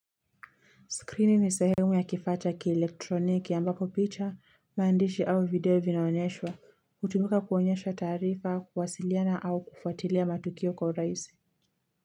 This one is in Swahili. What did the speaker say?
Skrini ni sehemu ya kifaa cha kielektroniki ambapo picha maandishi au video vinaonyeshwa. Hutumika kuonyesha taarifa kuwasiliana au kufuatilia matukio kwa huraisi.